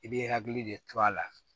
I bɛ hakili de to a la